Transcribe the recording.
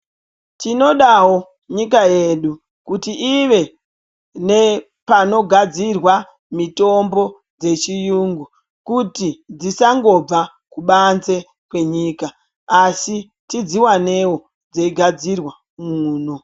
Tinodawo nyika yedu kuti ive nepanogadzirwa mitombo dzechiyungu kuti dzisangobva kubanze kwenyika asi tidziwanewo dzeigadzirwa muno.